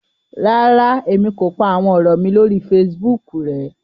Ràrá, Èmi kò pá àwọn òrò mí lórí Facebook rẹ